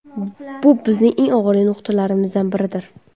Bu bizning eng og‘riqli nuqtalarimizdan biridir.